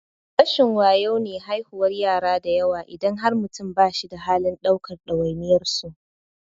Rashin wayo ne haihuwar yara dayawa idan har mutum ba shi da halin ɗaukar ɗawainiyar su.